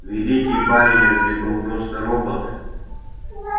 великий байерли был просто робот